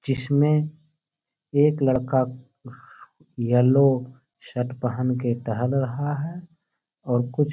जिसमें एक लड़का येलो शर्ट पहन के टहल रहा है और कुछ--